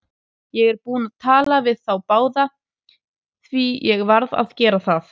Ég er búinn að tala við þá báða, því ég varð að gera það.